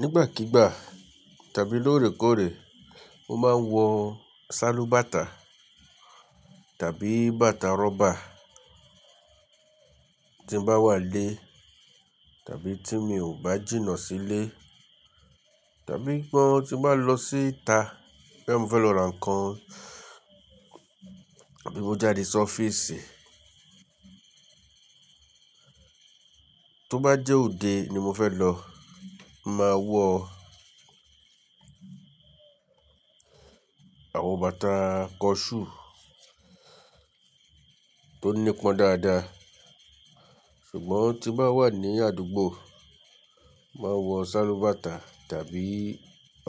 Nígbàkígbà tàbí lóòrèkóòrè, mo máa ń wọ sálúbàtà tàbí bàtà rọ́bà tí mo bá wà lé tàbí tí mi ò bá jìnnà sílé tàbí tí mo bá lọ síta bo ya mo fẹ́ lọ ra nǹkan àbí mo jáde sí ọ́fíìsì. Tó bá jẹ́ òde ni mo fẹ́ lọ, màá wọ àwọn bàtà kọ ṣú tó nípọn dáadáa. Ṣùgbọ́n tí mo bá wà ní àdúgbò, màá wọ sálúbàtà tàbí